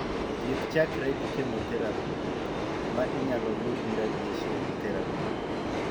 Thieth chakre gi chemotherapy ,ma inyalo lu gi radiation therapy.